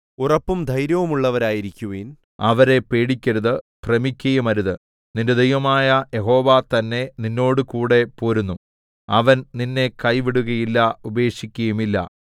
ഉറപ്പും ധൈര്യവുമുള്ളവരായിരിക്കുവിൻ അവരെ പേടിക്കരുത് ഭ്രമിക്കയുമരുത് നിന്റെ ദൈവമായ യഹോവ തന്നെ നിന്നോടുകൂടെ പോരുന്നു അവൻ നിന്നെ കൈവിടുകയില്ല ഉപേക്ഷിക്കുകയുമില്ല